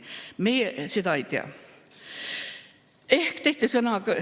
Meie seda ei tea.